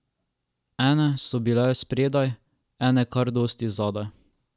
Ene so bile spredaj, ene kar dosti zadaj.